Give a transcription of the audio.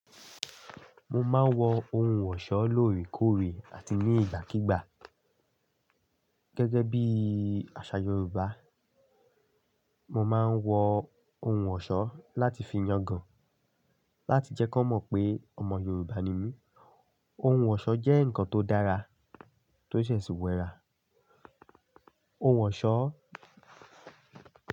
Mo máa ń wọ ohun ọ̀ṣọ́ lóòrèkóòrè àti ní ìgbàkígbà. Gẹ́gẹ́ bí àṣà Yoruba, mo máa ń wọ ohun ọ̀ṣọ́ láti fi yangàn, láti jẹ́ kan mọ̀ pé ọmọ Yoruba ni mí. Ohun ọ̀ṣọ́ jẹ́ nǹkan tó dára, tó de sì wẹ̀ rà. Ohun ọ̀ṣọ́.